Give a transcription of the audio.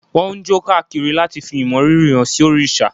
Wọ́n ń jó káàkiri láti fí ìmọrírì hán sí òrìṣà.